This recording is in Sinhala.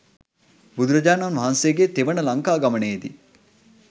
බුදුරජාණන් වහන්සේගේ තෙවන ලංකා ගමනේ දී